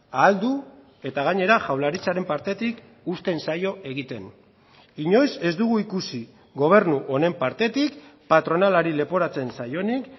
ahal du eta gainera jaurlaritzaren partetik uzten zaio egiten inoiz ez dugu ikusi gobernu honen partetik patronalari leporatzen zaionik